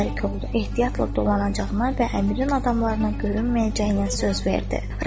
Ehtiyatla dolanacağına və Əmirin adamlarına görünməyəcəyinə söz verdi.